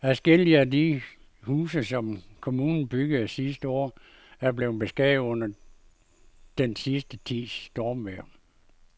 Adskillige af de huse, som kommunen byggede sidste år, er blevet beskadiget under den sidste tids stormvejr.